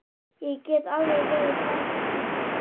Ég get alveg verið þerna.